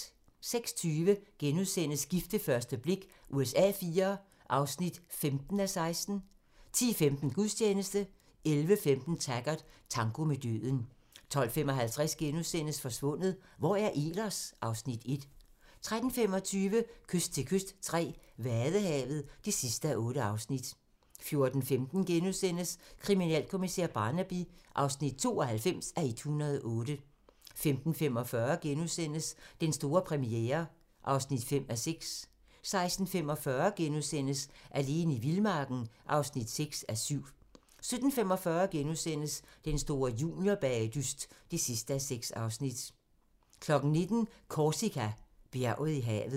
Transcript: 06:20: Gift ved første blik USA IV (15:16)* 10:15: Gudstjeneste 11:15: Taggart: Tango med døden 12:55: Forsvundet - Hvor er Ehlers? (Afs. 1)* 13:25: Kyst til kyst III - Vadehavet (8:8) 14:15: Kriminalkommissær Barnaby (92:108)* 15:45: Den store premiere (5:6)* 16:45: Alene i vildmarken (6:7)* 17:45: Den store juniorbagedyst (6:6)* 19:00: Korsika - Bjerget i havet